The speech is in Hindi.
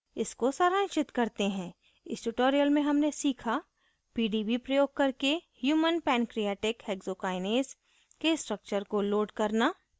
इसको सारांशित करते है इस tutorial में human सीखा pdb प्रयोग करके human पैन्क्रीऐटिक हेक्सोकाइनेस hexokinase के structure को load करना